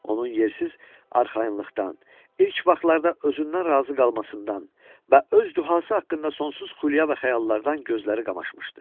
Onun yersiz arxayınlıqdan, ilk vaxtlarda özündən razı qalmasından və öz duhası haqqında sonsuz xülyə və xəyallardan gözləri qamaşmışdı.